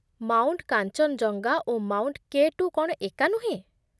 Mount Kanchenjunga ଓ mount K two କ'ଣ ଏକା ନୁହେଁ?